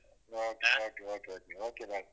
ಹ okay okay bye.